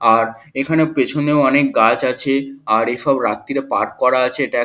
আর এখানে পেছনেও অনেক গাছ আছে আর এসব রাত্তিরে পাট করা আছে এটা এক--